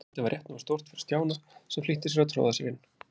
Gatið var rétt nógu stórt fyrir Stjána, sem flýtti sér að troða sér inn.